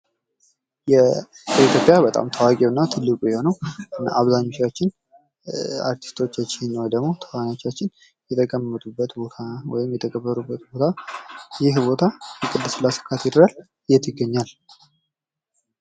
በኢትይጵያ በጣም ታዋቂው አርቲስቶች የሚቀበሩበት ቦታ ቅድስት ሥላሴ ካቴድራል የት ይገኛል?